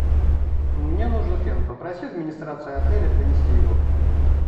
мне нужен фен попроси администрацию отеля принести его